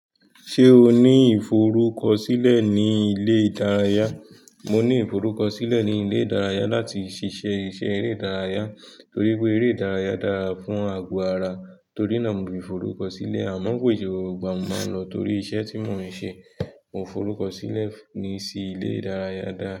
Ṣé o ní ìforúkọsílẹ̀ ní ilé ìdárayá? Mo ní ìforúkọsílẹ̀ ní ilé ìdárayá láti ṣiṣẹ́ iṣẹ́ eré ìdárayá torí pé eré ìdárayá dára fún àgọ́ ara, torí náà mo fí forúkọsílẹ̀ àmọ́ kò ì ṣe gbogbo igba mo máa ń lọ torí iṣẹ́ tí mo ń ṣe. Mo forúkọ sílẹ̀ ní sí ilé ìdárayá dá.